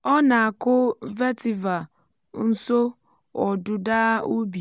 ọ na-akụ vetiver nso ọdụda ubi